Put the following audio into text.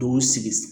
Dugu sigi